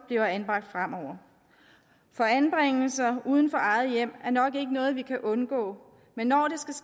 bliver anbragt fremover for anbringelser uden for eget hjem er nok ikke noget vi kan undgå men når